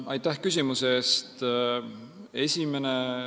Aitäh küsimuse eest!